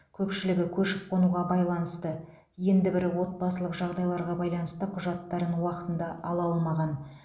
көпшілігі көшіп қонуға байланысты енді бірі отбасылық жағдайларға байланысты құжаттарын уақытында ала алмаған